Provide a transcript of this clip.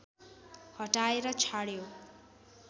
हटाएर छाड्यो